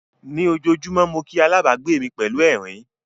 Ní ojoojúmọ́ mo kí alábàgbé mi pẹ̀lú ẹ̀rín.